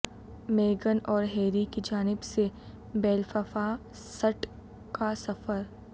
میگن اور ہیری کی جانب سے بیلففاسٹ کا سفر